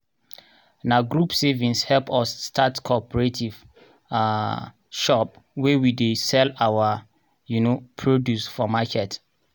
na group savings help us start cooperative um shop where we dey sell our um produce for marker.